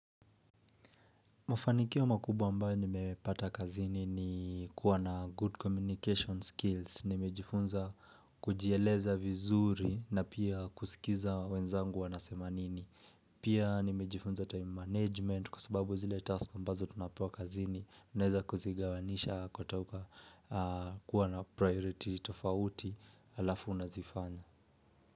Mafanikio makubwa mbao ni mepata kazini ni kuwa na good communication skills. Nimejifunza kujieleza vizuri na pia kusikiza wenzangu wanasema nini. Pia nimejifunza time management kwa sababu zile task mbazo tunapewa kazini. Neneza kuzigawanisha kutoka kuwa na priority tofauti alafu unazifanya.